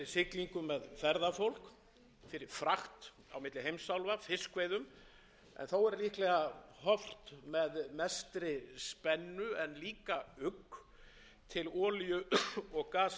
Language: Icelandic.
með ferðafólk fyrir frakt á milli heimsálfa fiskveiðum en þó verður líklega horft með mestri spennu en líka ugg til olíu og gaslinda ég held að það sé staðreynd